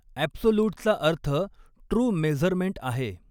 ॲब्सोलूटचा अर्थ true measurement आहे.